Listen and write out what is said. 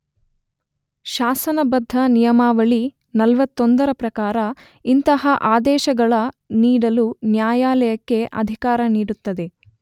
ಶಾಸನಬದ್ದ ನಿಯಮಾವಳಿ 41 ರ ಪ್ರಕಾರ ಇಂತಹ ಅದೇಶಗಳ ನೀಡಲು ನ್ಯಾಯಾಲಯಕ್ಕೆ ಅಧಿಕಾರ ನೀಡುತ್ತದೆ.